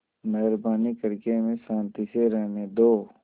मेहरबानी करके हमें शान्ति से रहने दो